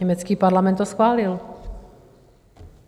Německý parlament to schválil.